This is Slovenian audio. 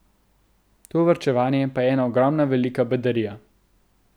To varčevanje pa je ena ogromna velika bedarija.